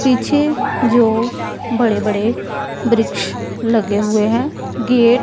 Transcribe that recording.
पीछे जो बड़े बड़े वृक्ष लगे हुए हैं गेट --